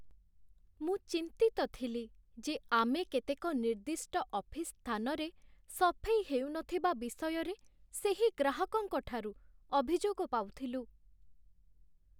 ମୁଁ ଚିନ୍ତିତ ଥିଲି ଯେ ଆମେ କେତେକ ନିର୍ଦ୍ଦିଷ୍ଟ ଅଫିସ୍ ସ୍ଥାନରେ ସଫେଇ ହେଉନଥିବା ବିଷୟରେ ସେହି ଗ୍ରାହକଙ୍କଠାରୁ ଅଭିଯୋଗ ପାଉଥିଲୁ।